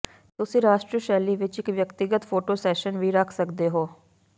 ਤੁਸੀਂ ਰਾਸ਼ਟਰੀ ਸ਼ੈਲੀ ਵਿੱਚ ਇੱਕ ਵਿਅਕਤੀਗਤ ਫੋਟੋ ਸੈਸ਼ਨ ਵੀ ਰੱਖ ਸਕਦੇ ਹੋ